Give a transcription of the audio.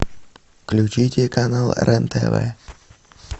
включите канал рен тв